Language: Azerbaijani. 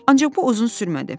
Ancaq bu uzun sürmədi.